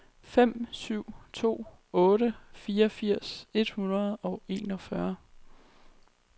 fem syv to otte fireogfirs et hundrede og enogfyrre